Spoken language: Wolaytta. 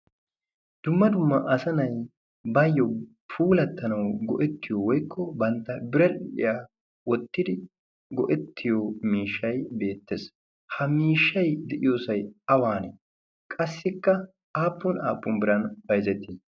dumma dumma asanay baayyo puulattanau go'ettiyo woikko bantta biredhdhiyaa wottidi go'ettiyo miishshay beettees ha miishshai de'iyoosai awaanee qassikka aappun aappun biran bayzzettii?